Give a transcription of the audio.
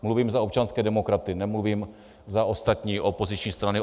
Mluvím za občanské demokraty, nemluvím za ostatní opoziční strany.